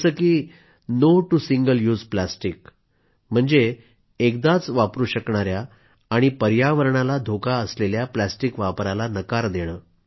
जसं की no to single use plastic म्हणजेच एकदाच वापरू शकणाया पर्यावरणाला धोका असलेल्या प्लास्टिक वापराला नकार देणे